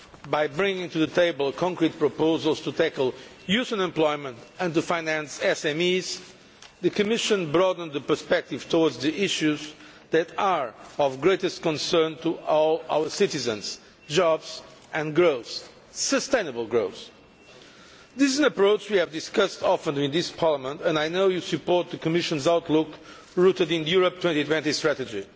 By bringing to the table concrete proposals to tackle youth unemployment and to finance SMEs, the Commission broadened the perspective towards the issues that are of greatest concern to all our citizens jobs and growth, sustainable growth. This is an approach that we have often discussed with this Parliament and I know you support the Commission's outlook, rooted in the Europe 2020 Strategy.